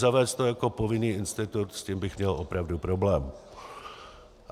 Zavést to jako povinný institut, s tím bych měl opravdu problém.